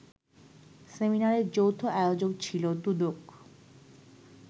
সেমিনারের যৌথ আয়োজক ছিল দুদক